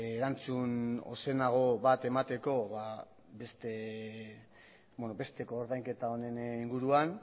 erantzun ozenago bat emateko beste koordainketa honen inguruan